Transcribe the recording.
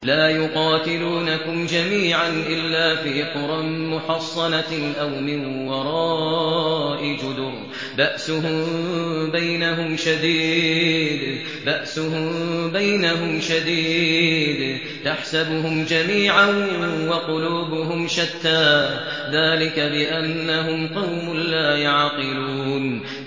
لَا يُقَاتِلُونَكُمْ جَمِيعًا إِلَّا فِي قُرًى مُّحَصَّنَةٍ أَوْ مِن وَرَاءِ جُدُرٍ ۚ بَأْسُهُم بَيْنَهُمْ شَدِيدٌ ۚ تَحْسَبُهُمْ جَمِيعًا وَقُلُوبُهُمْ شَتَّىٰ ۚ ذَٰلِكَ بِأَنَّهُمْ قَوْمٌ لَّا يَعْقِلُونَ